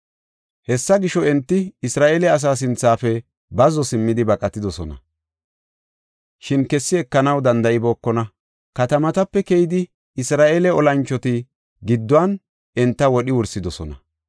Hessa gisho, enti Isra7eele asaa sinthafe bazzo simmidi baqatidosona; shin kessi ekanaw danda7ibookona. Katamatape keyida Isra7eele olanchoti gidduwan enta wodhi wursidosona.